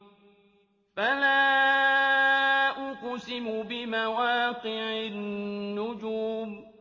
۞ فَلَا أُقْسِمُ بِمَوَاقِعِ النُّجُومِ